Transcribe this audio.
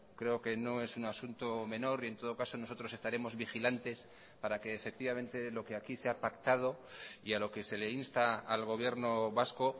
creo que no es un asunto menor y en todo caso nosotros estaremos vigilantes para que efectivamente lo que aquí se ha pactado y a lo que se le insta al gobierno vasco